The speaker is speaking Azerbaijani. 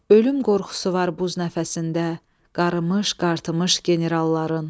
Ölüm qorxusu var buz nəfəsində, qarımış qartımış generalların.